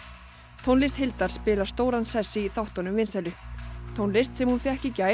tónlist Hildar Guðnadóttur spilar stóran sess í þáttunum vinsælu tónlist sem hún fékk í gær